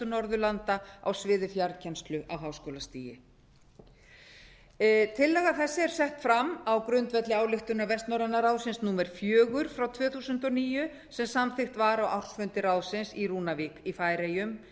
norðurlanda á sviði fjarkennslu á háskólastigi tillaga þessi er sett fram á grundvelli ályktunar vestnorræna ráðsins númer fjögur tvö þúsund og níu sem samþykkt var á ársfundi ráðsins í rúnavík í færeyjum